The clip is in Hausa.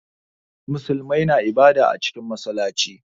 Muslimai na ibada cikin massalaci.